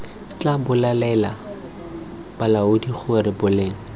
tla bolelela balaodi gore boleng